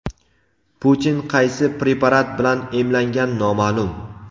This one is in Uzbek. Putin qaysi preparat bilan emlangan noma’lum.